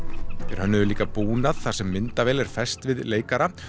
þeir hönnuðu líka búnað þar sem myndavél var fest við leikara